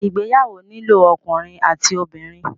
Ìgbéyàwó nílò ọkùnrin àti obìnrin.